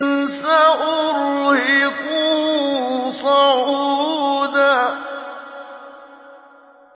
سَأُرْهِقُهُ صَعُودًا